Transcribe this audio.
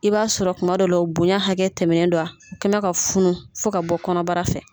I b'a sɔrɔ kuma dɔ la bonya hakɛ tɛmɛnen don a, o kɛmɛ ka funu fo ka bɔ kɔnɔbara fɛ.